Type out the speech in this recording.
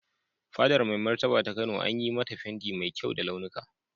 Fadar Mai Martaba ta Kano an yi mata fenti mai kyau da launuka.